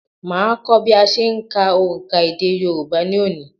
Màá kọ́ bí a se ń ka òǹkà èdè Yorùbá ní òní